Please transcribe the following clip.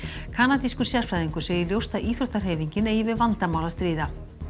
kanadískur sérfræðingur segir ljóst að íþróttahreyfingin eigi við vandamál að stríða